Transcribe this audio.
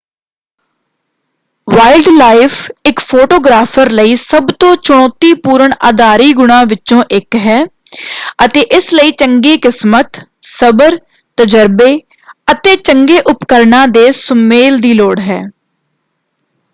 Wild life ਇਕ photographer ਲਈ ਸਭ ਤੋਂ ਚੁਣੌਤੀਪੂਰਨ ਆਧਾਰੀ ਗੁਣਾਂ ਵਿੱਚੋਂ ਇਕ ਹੈ ਅਤੇ ਇਸ ਲਈ ਚੰਗੀ ਕਿਸਮਤ ਸਬਰ ਤਜਰਬੇ ਅਤੇ ਚੰਗੇ ਉਪਕਰਣਾਂ ਦੇ ਸੁਮੇਲ ਦੀ ਲੋੜ ਹੈ।